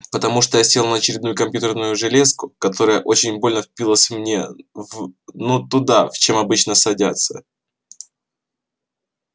потому что села я на очередную компьютерную железку которая очень больно впилась мне в ну туда чем обычно садятся